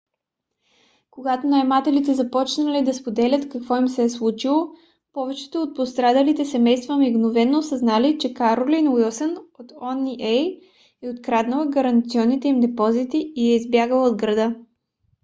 когато наемателите започнали да споделят какво им се е случило повечето от пострадалите семейства мигновено осъзнали че каролин уилсън от oha е откраднала гаранционните им депозити и е избягала от града